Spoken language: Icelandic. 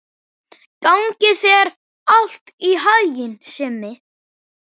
Gangi þér allt í haginn, Simmi.